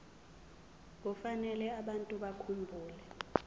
kufanele abantu bakhumbule